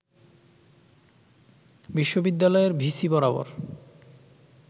বিশ্ববিদ্যালয়ের ভিসি বরাবর